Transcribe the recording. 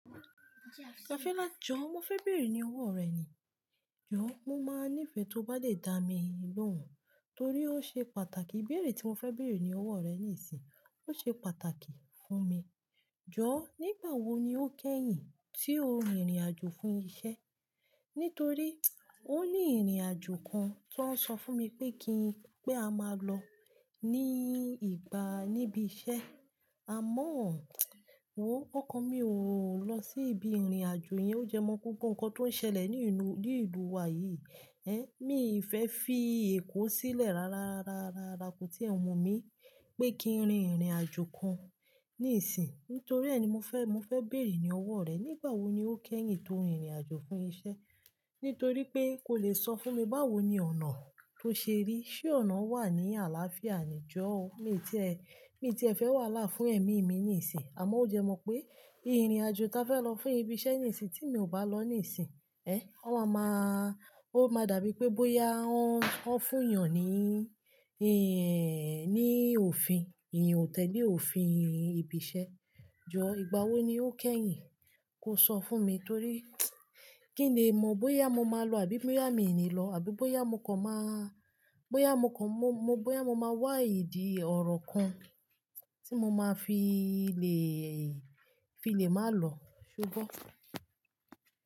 Àfílà jọ̀, mo fẹ́ bèrè ní ọwọ́ rẹ ni. Jọ̀, mo máa nífẹ́ tí o bá dè dá mi lóhùn, torí ó ṣe pàtàkì. Ibéèrè tí mo fẹ́ béèrè ní ọwọ́ rẹ nísìn, ó ṣe pàtàkì fún mi. Jọ̀, nígbà wo ni ó kẹ́yìn tí o rin ìrìn-àjò fún iṣẹ́? Nítorí o ní ìrìn-àjò kan tó ń sọ fún mi pé kí n pé a máa lọ ní ìgbà, níbi iṣẹ́. Àmọ́, mọ̀ ń kọ́, ọkàn mi ò lọ sí ibi ìrìn-àjò yẹn. Ó jẹ mọ́ kókó nǹkan tó ń ṣẹlẹ̀ nínú, ní ìlú wa yìí. Mi ò fi fẹ́ fí èkó sílẹ̀ rárárárárárá kó tí ẹ̀wọ̀n mi pé kí n rin ìrìn-àjò kan nísìn. Nítorí ẹ ni mo fẹ́, mo fẹ́ béèrè ní ọwọ́ rẹ. Nígbà wo ni ó kẹ́yìn tí o rin ìrìn-àjò fún iṣẹ́? Nítorí pé kò lè sọ fún mi báwo ni ọ̀nà tó ṣe rí. Ṣé ọ̀nà wà ní àlàáfíà ni jọ̀ọ́? Mi ti ẹ, mi ti ẹ fẹ́ wà hàlá fún ẹ̀mí mi nísìn, àmọ́ ó jẹ́ mọ́ pé ìrìn-àjò ta fẹ́ lọ fún ibi iṣẹ́ nísìn tí mi ò bá lọ nísìn, ó ma máa, ó máa dàbí pé bóyá wọ́n, wọ́n fún èyàn ní, ní òfin. Èèyàn ò tẹ́lè òfin ibi iṣẹ́. Jọ̀, ìgbà wo ni ó kẹ́yìn kó sọ fún mi? Torí kí n lè mọ̀ bóyá mo máa lọ àbí bóyá mi ò ní lọ, àbí bóyá mọ̀ kan máa, bóyá mọ̀ kan mọ, mọ bóyá mo máa wá ìdí ọ̀rọ̀ kan tí mo máa fi lè, fi lè máa lọ. Ṣo gbọ́?